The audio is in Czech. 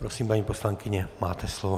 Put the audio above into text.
Prosím, paní poslankyně, máte slovo.